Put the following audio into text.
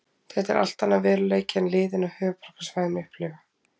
Þetta er allt annar veruleiki en liðin á höfuðborgarsvæðinu upplifa.